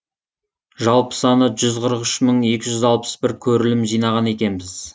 жалпы саны жүз қырық үш мың екі жүз алпыс бір көрілім жинаған екенбіз